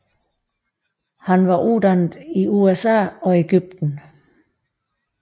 Han var uddannet i USA og Egypten